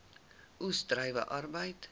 oes druiwe arbeid